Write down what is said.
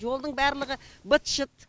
жолдың барлығы быт шыт